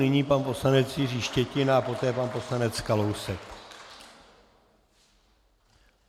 Nyní pan poslanec Jiří Štětina a poté pan poslanec Kalousek.